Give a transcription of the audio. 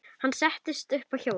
Ég settist upp á hjólið.